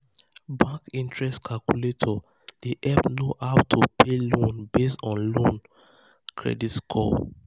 um bank interest calculator dey help know how to um pay um loan based on loan based on your credit score.